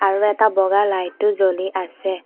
আৰু এটা বগা লাইটটো জ্বলি আছে।